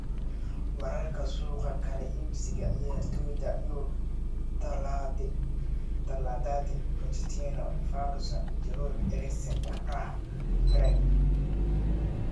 Wararka suuqa kala iibsiga ciyaartoyda Yurub Talaadadii: Pochettino, Ferguson, Giroud, Eriksen, Abraham, Fred.